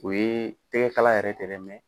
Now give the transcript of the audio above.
O ye tɛgɛ kala yɛrɛ tɛ dɛ